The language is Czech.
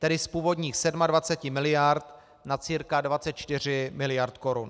Tedy z původních 27 miliard na cca 24 miliard korun.